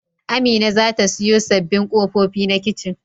Amina za ta siyo sabbin kofuna na kicin.